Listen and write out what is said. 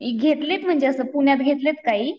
घेतलेत म्हणजे असं पुण्यात घेतलेत काही.